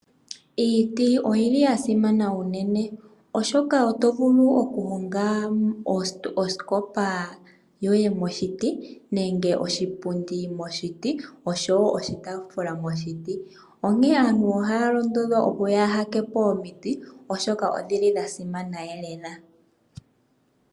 Iiti oyili yasimana uunene oshoka oto vulu oku honga osikopa yoye moshiti nenge oshipundi moshiti oshowo oshitaafula moshiti. Onkene aantu ohaya londodhwa opo ya haa tetepo omiiti oshoka odha simana lela.